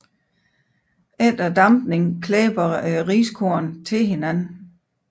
Efter dampningen klæber riskornene til hinanden